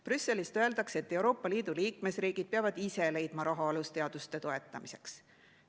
Brüsselist öeldakse, et Euroopa Liidu liikmesriigid peavad ise leidma raha alusteaduste toetamiseks.